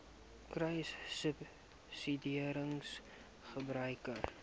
kruissubsidiëringgebruik